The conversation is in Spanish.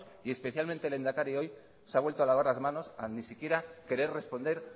y especialmente el lehendakari hoy se ha vuelto a lavar las manos a ni siquiera querer responder